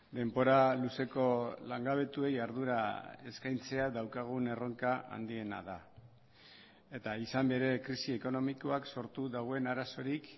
denbora luzeko langabetuei ardura eskaintzea daukagun erronka handiena da eta izan bere krisi ekonomikoak sortu duen arazorik